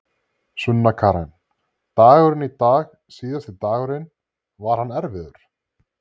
Sunna Karen: Dagurinn í dag síðasti dagurinn, var hann erfiður?